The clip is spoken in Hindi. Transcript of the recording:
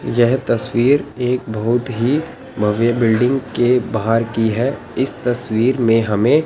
यह तस्वीर एक बहुत ही भव्य बिल्डिंग के बाहर की है इस तस्वीर में हमें--